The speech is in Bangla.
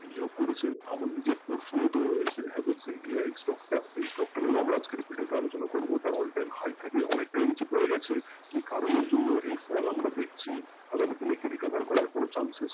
করেছেন আমার নিজের প্রশ্নও তো রয়েছে stock টা এই stock টা নিয়েই আমরা আজকের এই video তে আলোচনা করবো তার all time high থেকে অনেকটাই নীচে পড়ে গেছে কী কারনের জন্য এই ফল আমরা দেখছি আগামী দিনে কি কোনো recover করার কোনো chances